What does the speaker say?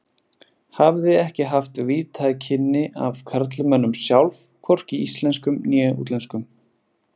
Hafði ekki haft víðtæk kynni af karlmönnum sjálf, hvorki íslenskum né útlenskum.